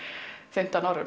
fimmtán árum